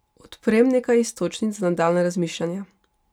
Odprem nekaj iztočnic za nadaljnje razmišljanje.